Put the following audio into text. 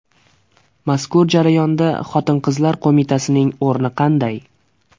Mazkur jarayonda Xotin-qizlar qo‘mitasining o‘rni qanday?